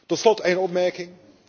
Tot slot een opmerking.